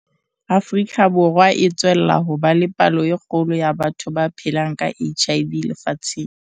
Afrika Borwa e tswella ho ba le palo e kgolo ya batho ba phelang ka HIV lefatsheng.